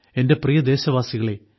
എന്റെ പ്രിയ ദേശവാസികളേ